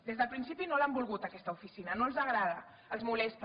des del principi no l’han volguda aquesta oficina no els agrada els molesta